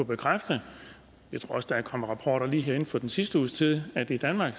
bekræfte jeg tror også der er kommet rapporter lige her inden for den sidste uges tid at vi i danmark